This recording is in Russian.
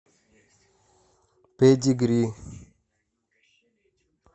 педигри